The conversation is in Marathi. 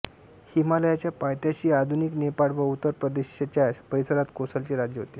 हिमालयाच्या पायथ्याशी आधुनिक नेपाळ व उत्तर प्रदेशच्या परिसरात कोसलचे राज्य होते